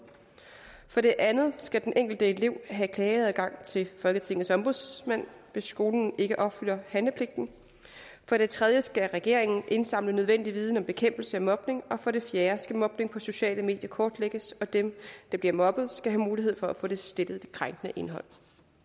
for det andet skal den enkelte elev have klageadgang til folketingets ombudsmand hvis skolen ikke opfylder handlepligten for det tredje skal regeringen indsamle nødvendig viden om bekæmpelse af mobning og for det fjerde skal mobning på sociale medier kortlægges og dem der bliver mobbet skal have mulighed for at få slettet det krænkende indhold